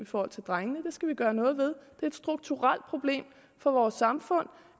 forhold til drengene det skal vi gøre noget ved er et strukturelt problem for vores samfund